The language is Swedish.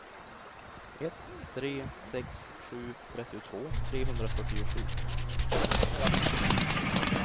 ett tre sex sju trettiotvå trehundrafyrtiosju